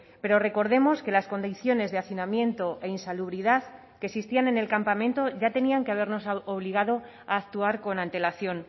pero recordemos que las condiciones de hacinamiento e insalubridad que existían en el campamento ya tenían que habernos obligado a actuar con antelación